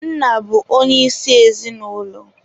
Nna bụ onye isi ezinụlọ.